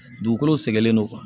Dugukolo sɛgɛnnen don